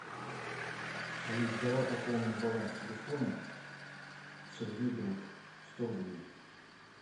алис давай пополним баланс телефона сергей друг сто рублей